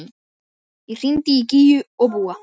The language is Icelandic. Ég hringdi í Gígju og Búa.